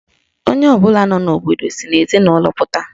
Onye ọbụla nọ n'obodo si n'ezinụlọ pụta